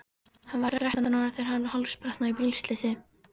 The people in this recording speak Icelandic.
Hann var þrettán ára þegar hann hálsbrotnaði í bílslysi.